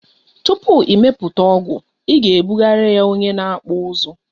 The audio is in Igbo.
Tupu ị mepụta ọgụ ị ga ebugara ya onye na akpụ ụzụ